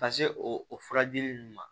Ka se o o furadili ninnu ma